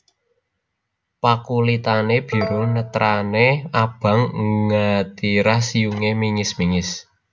Pakulitané biru netrané abang angatirah siyungé mingis mingis